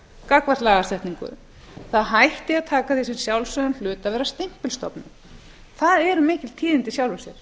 gagnvart lagasetningu það hætti að taka því sem sjálfsögðum hlut að vera stimpilstofnun það eru mikil tíðindi í sjálfu sér